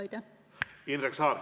Indrek Saar.